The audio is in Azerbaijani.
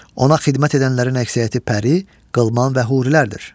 Ona xidmət edənlərin əksəriyyəti pəri, qılman və hurilərdir.